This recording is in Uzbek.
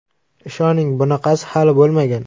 Ishoning bunaqasi hali bo‘lmagan!